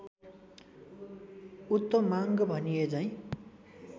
उत्तमाङ्ग भनिएझैं